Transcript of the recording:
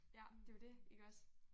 Ja det jo det iggås